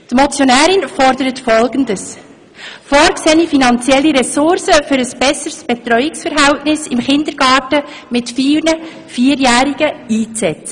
Die Motionärin fordert, vorgesehene finanzielle Ressourcen für ein besseres Betreuungsverhältnis in Kindergärten mit vielen Vierjährigen einzusetzen.